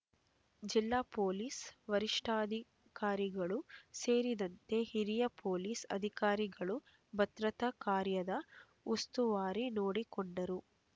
ಜಿಲ್ಲಾ ಪೊಲೀಸ್ ವರಿಷ್ಠಾಧಿಕಾರಿಗಳು ಸೇರಿದಂತೆ ಹಿರಿಯ ಪೊಲೀಸ್ ಅಧಿಕಾರಿಗಳು ಭದ್ರತಾ ಕಾರ್ಯದ ಉಸ್ತುವಾರಿ ನೋಡಿಕೊಂಡರು